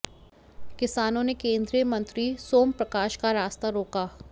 किसानों ने केंद्रीय मंत्री सोम प्रकाश का रास्ता रोका